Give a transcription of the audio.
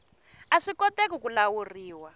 a swi koteki ku lawuriwa